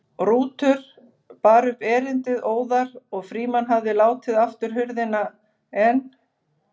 Rútur bar upp erindið óðar og Frímann hafði látið aftur hurðina en